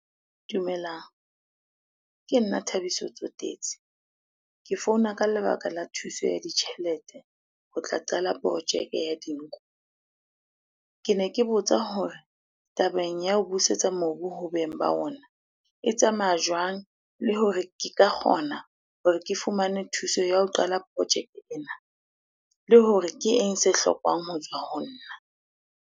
Dumelang, ke nna Thabiso Tsotetsi. Ke founa ka lebaka la thuso ya ditjhelete ho tla qala projeke ya dinku. Kene ke botsa hore tabeng ya ho busetsa mobu ho beng ba ona, e tsamaya jwang le hore ke ka kgona hore ke fumane thuso ya ho qala project ena? Le hore ke eng se hlokwang ho tswa ho nna?